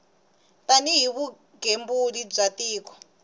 tani hi vugembuli bya tiko